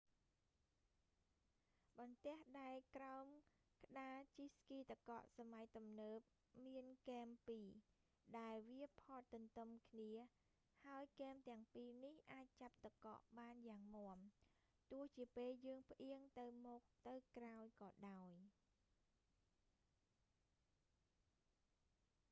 បន្ទះដែកក្រោមក្តារជិះស្គីទឹកកកសម័យទំនើបមានគែមពីរ ដែលវាផតទន្ទឹមគ្នា ហើយគែមទាំងពីរនេះអាចចាប់ទឹកកកបានយ៉ាងមាំ ទោះជាពេលយើងផ្អៀងទៅមុខទៅក្រោយក៏ដោយ